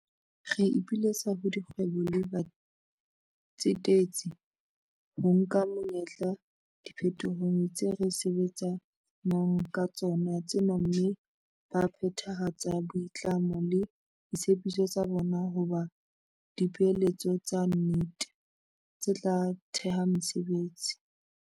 Re ipiletsa ho dikgwebo le batsetedi ho nka monyetla diphetohong tse re sebetsa nang ka tsona tsena mme ba phethahatse boitlamo le ditshepiso tsa bona ho ba dipeeletso tsa nnete, tse tla theha mesebetsi.